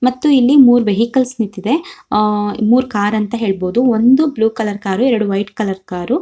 ಮತ್ತು ಇಲ್ಲಿ ಮೂರ್ ವೆಹಿಕಲ್ಸ್ ನಿಂತಿದೆ ಅಹ್ ಮೂರ್ ಕಾರ್ ಅಂತ ಹೇಳಬಹುದು ಒಂದು ಬ್ಲೂ ಕಲರ್ ಕಾರು ಎರಡು ವೈಟ್ ಕಲರ್ ಕಾರು .